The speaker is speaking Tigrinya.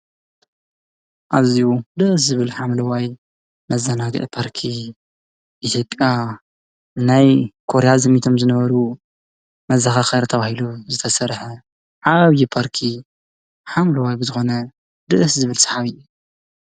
ኣዝዩ ደስ ዝብል ሓምለዋይ መዘናግዒ ፓርኪ። ሙዚቃ፣ ናይ ኮርያ ዘሚቶም ዝነበሩ መዘኻኸሪ ተባሂሉ ዝተሰርሓ ዓብዪ ፓርኪ ሓምለዋይ ብዝኾነ ደስ ዝብል ሰሓቢ ።